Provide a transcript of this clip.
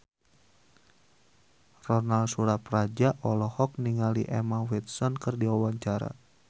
Ronal Surapradja olohok ningali Emma Watson keur diwawancara